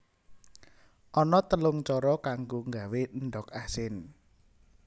Ana telung cara kanggo nggawé endhog asin